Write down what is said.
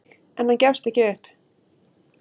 En hann gefst ekki upp.